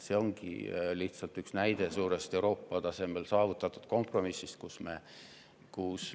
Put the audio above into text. See on üks näide Euroopa tasemel saavutatud suurest kompromissist.